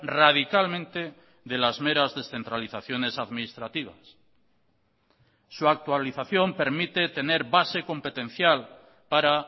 radicalmente de las meras descentralizaciones administrativas su actualización permite tener base competencial para